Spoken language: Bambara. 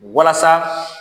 Walasa